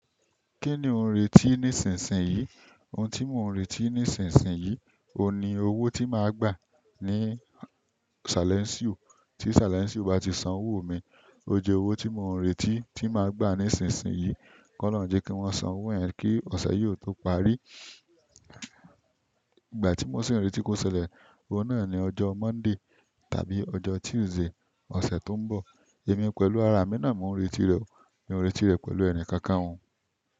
Kí ni ò ń retí nísinsìnyí? Ohun tí mò ń retí nísinsìnyí, oun ní owó tí màá gbà ní salénsíò. Tí salénsíò bá ti san owó mi, ó jẹ owó tí mò ń retí tí màá gbà nísinsìnyí. Kọlọhun jẹki wọn san owo yẹn ki ọsẹ yi o to parí. Ìgbà tí mò sì ń retí kó ṣẹlẹ̀, oun náà ni ọjọ́ Monday tàbí ọjọ́ Tuesday ọ̀sẹ̀ tó ń bọ̀. Èmi pẹ̀lú ara mi náà mò ń retí rẹ̀, mi ò retí rẹ̀ pẹ̀lú ẹnikankan o.